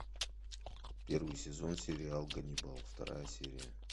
первый сезон сериал ганнибал вторая серия